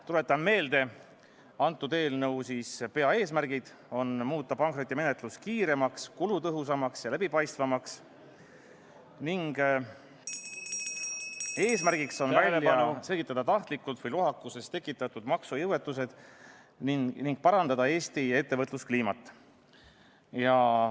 Tuletan meelde, et eelnõu peaeesmärgid on muuta pankrotimenetlus kiiremaks, kulutõhusamaks ja läbipaistvamaks, eesmärk on ka välja selgitada tahtlikult tekitatud või lohakusest tekkinud maksejõuetused ning parandada Eesti ettevõtluskliimat.